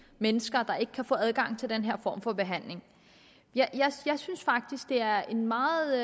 mennesker der ikke kan få adgang til den her form for behandling jeg synes faktisk det er en meget